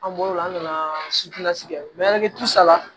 An bɔr'o la an nana kɛ saba